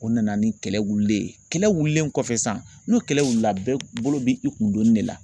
O nana ni kɛlɛ wililen ye kɛlɛ wililen kɔfɛ sisan n'o kɛlɛ wilila bɛɛ bolo bɛ i kun donni de la